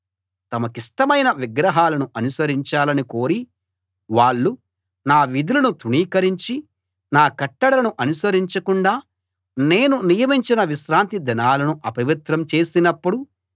తమకిష్టమైన విగ్రహాలను అనుసరించాలని కోరి వాళ్ళు నా విధులను తృణీకరించి నా కట్టడలను అనుసరించకుండా నేను నియమించిన విశ్రాంతి దినాలను అపవిత్రం చేసినప్పుడు